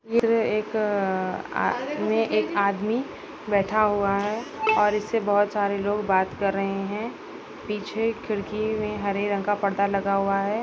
त्रे एक अअअअअ में एक आदमी बैठा हुआ है और इससे बोहत सारे लोग बात कर रहे है पीछे खिड़की में हरे रंग का पर्दा लगा हुआ हैं।